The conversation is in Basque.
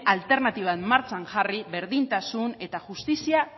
alternatibak martxan jarri berdintasun eta justizia